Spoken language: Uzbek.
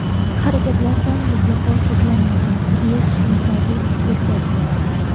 Harakatlardan mutlaqo cheklanganman”, − deya tushuntiradi erkak.